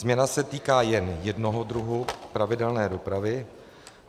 Změna se týká jen jednoho druhu pravidelné dopravy.